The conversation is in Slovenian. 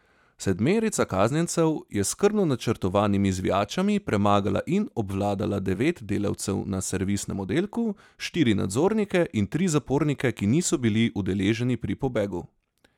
Sedmerica kaznjencev je s skrbno načrtovanimi zvijačami premagala in obvladala devet delavcev na servisnem oddelku, štiri nadzornike in tri zapornike, ki niso bili udeleženi pri pobegu.